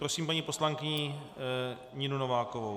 Prosím paní poslankyni Ninu Novákovou.